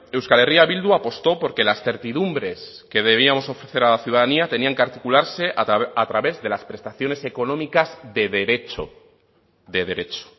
euskal herria bildu apostó por que las certidumbres que debíamos ofrecer a la ciudadanía tenían que articularse a través de las prestaciones económicas de derecho de derecho